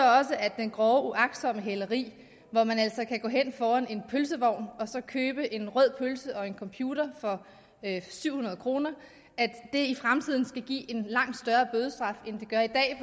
at det grove uagtsomme hæleri hvor man altså kan gå hen foran en pølsevogn og så købe en rød pølse og en computer for syv hundrede kr i fremtiden skal give en langt større bødestraf end det gør i dag